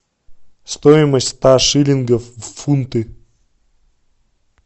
стоимость ста шиллингов в фунты